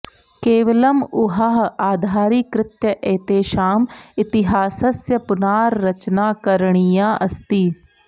केवलम् ऊहाः आधारीकृत्य एतेषाम् इतिहासस्य पुनारचना करणीया अस्ति